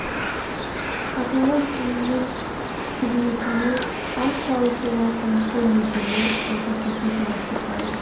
аталған ұйымның қызметіне атсалысуға қазақстан мүдделі деді қасым жомарт тоқаев